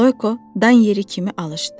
Loyko dan yeri kimi alışdı.